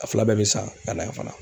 A fila bɛɛ bɛ san ka na yan fana.